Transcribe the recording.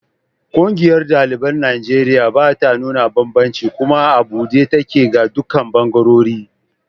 Ƙungiyar ɗaliban Najeriya bata nuna banbanci kuma a buɗe take ga dukkan ɓangarori.